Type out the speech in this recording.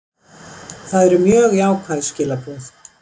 Það eru mjög jákvæð skilaboð